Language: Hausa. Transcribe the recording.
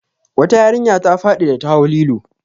Wata yarinya ta faɗi da ta hau lilo.